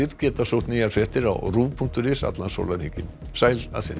geta sótt nýjar fréttir á punktur is allan sólarhringinn sæl að sinni